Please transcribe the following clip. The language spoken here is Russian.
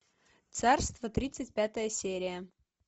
царство тридцать пятая серия